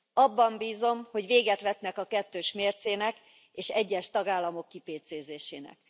Abban bízom, hogy véget vetnek a kettős mércének és egyes tagállamok kipécézésének.